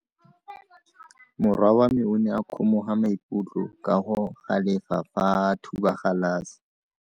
Morwa wa me o ne a kgomoga maikutlo ka go galefa fa a thuba galase.